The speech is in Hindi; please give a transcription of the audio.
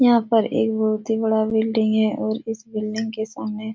यहाँ पर एक बहुत ही बड़ा बिल्डिंग है और उस बिल्डिंग के सामने --